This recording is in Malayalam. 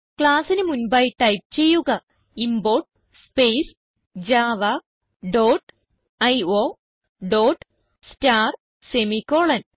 classന് മുൻപായി ടൈപ്പ് ചെയ്യുക import space Java dot io dot star semi colon